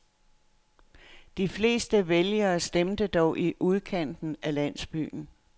De fleste vælgere stemte dog i udkanten af landsbyen.